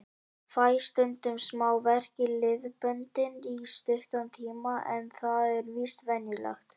Fæ stundum smá verk í liðböndin í stuttan tíma en það er víst venjulegt.